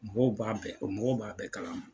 Mɔgɔw b'a bɛɛ kɔ mɔgɔw b'a bɛɛ kalama.